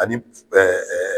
Ani